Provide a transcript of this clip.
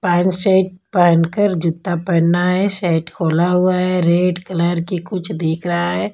Pan सेट पहन कर जूता पहनना है सर्ट खोला हुआ है रेड कलर की कुछ दिख रहा है।